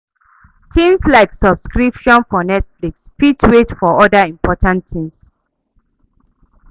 Things like subscription for Netflix fit wait for oda important things